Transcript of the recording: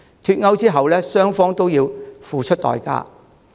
脫歐後，英國與歐盟雙方均要付出代價。